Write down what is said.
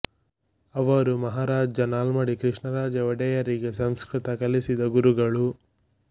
ಅವರು ಮಹಾರಾಜ ನಾಲ್ಮಡಿ ಕೃಷ್ಣರಾಜ ಒಡೆಯರಿಗೆ ಸಂಸ್ಕೃತ ಕಲಿಸಿದ ಗುರುಗಳು